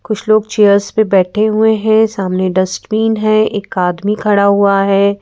कुछ लोग चेयर्स पे बैठे हुए है सामने डस्टबीन है एक आदमी खड़ा हुआ है।